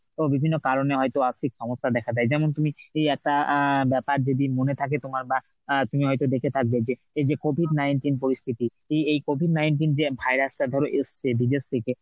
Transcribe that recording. তো বিভিন্ন কারণে হয়তো আর্থিক সমস্যা দেখা দেয় যেমন তুমি একটা আহ ব্যাপার যদি মনে থাকে তোমার বা অ্যাঁ তুমি হয়তো দেখে থাকবে যে এই যে COVID nineteen পরিস্থিতি এই এই COVID nineteen যে virus টা ধরো এসছে বিদেশ থেকে